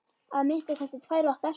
Að minnsta kosti tvær okkar.